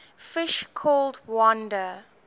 fish called wanda